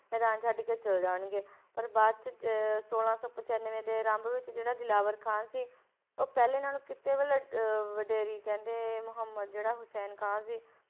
ਮੈਦਾਨ ਛੱਡ ਕੇ ਚਲੇ ਜਾਣਗੇ ਪਰ ਬਾਅਦ ਵਿੱਚ ਅਹ ਛੋਲਾਂ ਸੌ ਪਚਾਨਵੇਂ ਦੇ ਆਰੰਭ ਵਿੱਚ ਜਿਹੜਾ ਦਿਲਾਵਰ ਖਾਂ ਸੀ ਉਹ ਪਹਿਲੇ ਨਾਲੋਂ ਕਿਤੇ ਮਤਲਬ ਅਹ ਵਡੇਰੀ ਕਹਿੰਦੇ ਮੁਹੰਮਦ ਜਿਹੜਾ ਹੁਸੈਨ ਖਾਂ ਸੀ,